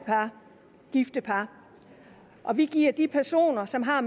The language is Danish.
gifte par og vi giver de personer som har